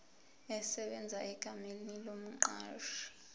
esebenza egameni lomqashi